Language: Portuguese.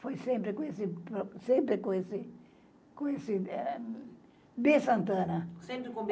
Foi sempre com esse... sempre com esse, com esse é... B. Santana. Sempre com o B